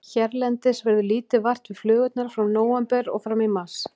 Hérlendis verður lítið vart við flugurnar frá nóvember og fram í mars.